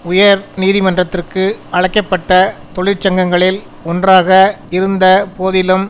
உயர் நீதிமன்றத்திற்கு அழைக்க பட்ட தொழிற்சங்கங்களில் ஒன்றாக இருந்த போதிலும்